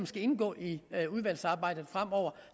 skal indgå i udvalgsarbejdet fremover